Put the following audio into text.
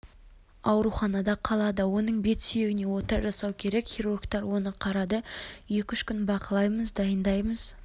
ауруханада қалады оның бет сүйегіне ота жасау керек хирургтар оны қарады екі-үш күн бақылаймыз дайындаймыз